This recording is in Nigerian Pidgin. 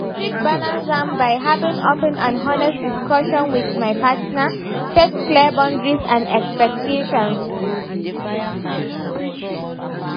I fit balance am by having open and honest discussions with my partner, set clear boundaries and expectations.